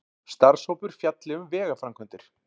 Starfshópur fjalli um vegaframkvæmdir